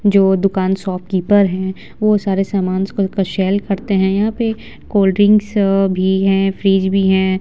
जो दुकान शॉपकीपर है वो सारे समांस को सेल करते है यहाँ पे कोल्ड ड्रिंक्स भी है फ्रिज भी है।